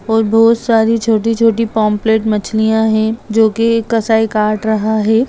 और बहुत सारी छोटी-छोटी पॉम्पलेट मछलियाँ है जो की एक कसाई काट रहा है।